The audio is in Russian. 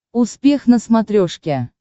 успех на смотрешке